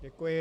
Děkuji.